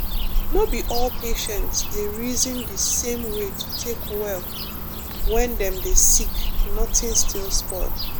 no be all patient dey reason the same way to take well when dem dey sick nothing still spoil